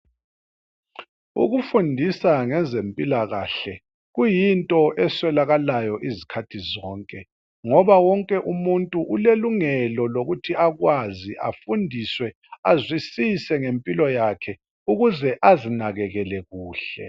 Ukufundisa ngezempilakahle kuyinto eswelakayo izikhathi zonke .Ngoba wonke umuntu ulelungelo lokuthi akwazi afundiswe ,azwisise ngempilo yakhe ukuze azinakekele kuhle.